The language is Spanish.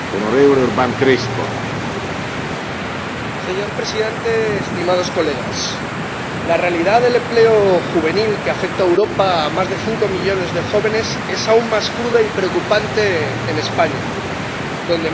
Señor Presidente, Señorías, la realidad del desempleo juvenil, que afecta en Europa a más de cinco millones de jóvenes, es aún más cruda y preocupante en España, donde más de la mitad de ellos carece de empleo.